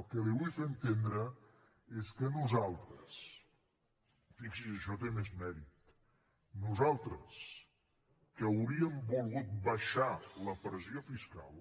el que li vull fer entendre és que nosaltres fixi s’hi això té més mèrit que hauríem volgut abaixar la pressió fiscal